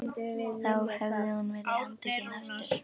Þá hefði hún verið handtekin aftur.